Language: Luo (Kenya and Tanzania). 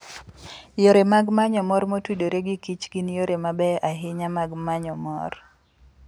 Yore mag manyo mor motudore giKich gin yore mabeyo ahinya mag manyo mor.